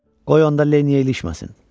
Qoy onda Lenny-ə ilişməsin.